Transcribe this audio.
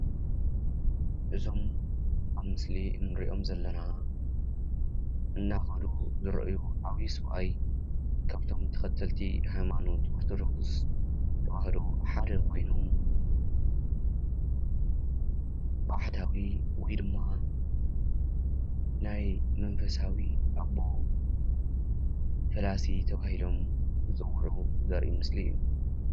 እዞም ኣብ ምስሊ እንሪኦም ዘለና እናኸዱ ዝረአዩ ዓብዪ ሰብኣይ ካብቶም ተኸተልቲ ሃይማኖት ኦርቶዶክስ ተዋህዶ ሓደ ኮይኑ ባሕታዊ ወይ ድማ ናይ መንፈሳዊ ኣቦ ፈላሲ ተባሂሎም ዝፅዉዑ ዘርኢ ምስሊ እዩ።